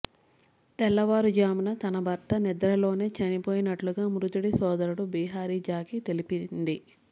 తెల్లవారు జామున తన భర్త నిద్రలోనే చనిపోయినట్లుగా మృతుడి సోదరుడు బిహారి జాకి తెలిపింది